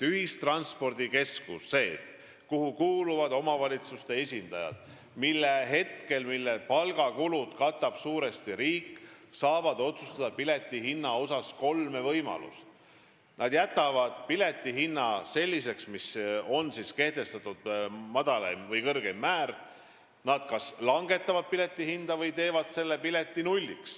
Ühistranspordikeskustel, kuhu kuuluvad omavalitsuste esindajad ja mille palgakulud katab suuresti riik, on pileti hinna üle otsustamisel kolm võimalust: nad kas jätavad kehtestatud kõrgeima hinna, langetavad hinda või panevad pileti hinnaks nulli.